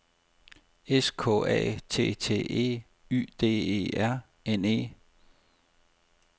S K A T T E Y D E R N E